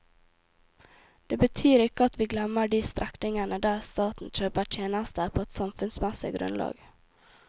Det betyr ikke at vi glemmer de strekningene der staten kjøper tjenester på et samfunnsmessig grunnlag.